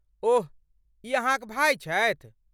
ओह, ई अहाँक भाय छथि?